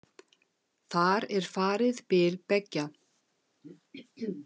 Þar er farið bil beggja.